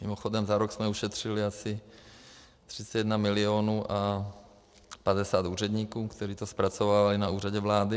Mimochodem za rok jsme ušetřili asi 31 milionů a 50 úředníků, kteří to zpracovávají na Úřadě vlády.